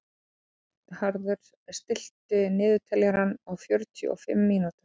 Bernharður, stilltu niðurteljara á fjörutíu og fimm mínútur.